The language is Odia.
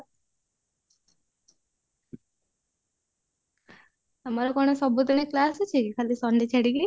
ତମର କଣ ସବୁ ଦିନ class ଅଛି କି ଖାଲି sunday ଛାଡିକି